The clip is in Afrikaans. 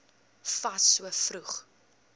fas so vroeg